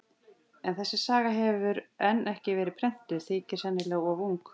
En þessi saga hefur enn ekki verið prentuð, þykir sennilega of ung.